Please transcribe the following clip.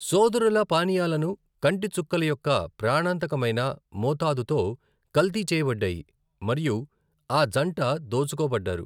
సోదరుల పానీయాలను కంటి చుక్కల యొక్క ప్రాణాంతకమైన మోతాదుతో కల్తీ చేయబడ్డాయి మరియు ఆ జంట దోచుకోబడ్డారు.